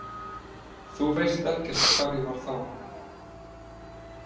Þú veist ekkert hvar ég var þá.